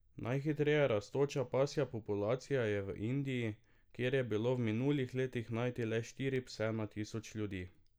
Najhitreje rastoča pasja populacija je v Indiji, kjer je bilo v minulih letih najti le štiri pse na tisoč ljudi.